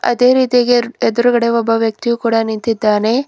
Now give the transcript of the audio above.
ಅದೇ ರೀತಿಯಾಗಿ ಎರ್ ಎದ್ರುಗಡೆ ಒಬ್ಬ ವ್ಯಕ್ತಿಯು ಕೂಡ ನಿಂತಿದ್ದಾನೆ.